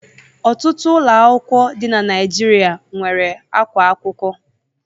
Ọtụtụ ụlọ akwụkwọ dị na Naijiria nwere ákwá akwụkwọ.